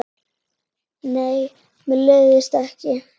Nei, mér leiðist ekki.